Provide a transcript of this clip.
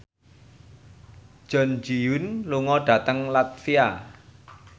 Jun Ji Hyun lunga dhateng latvia